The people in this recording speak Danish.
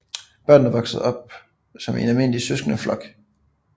Børnene vokser op som i en almindelig søskendeflok